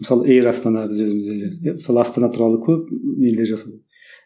мысалы эйр астана біз өзіміз де иә мысалы астана туралы көп нелер